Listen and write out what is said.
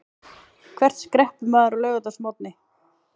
Hvert skreppur maður á laugardagsmorgni?